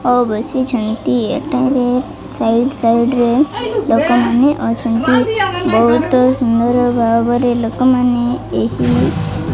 ହଉ ବସିଛନ୍ତି ଏଠାରେ ସାଇଡ୍ ସାଇଡ୍ ରେ ଲୋକମାନେ ଅଛନ୍ତି। ବୋହୁତ ସୁନ୍ଦର ଭାବରେ ଲୋକମାନେ ଏହି --